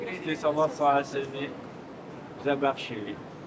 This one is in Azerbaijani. Çox sağolun, Allah sayəsini bizə bəxş eləyib.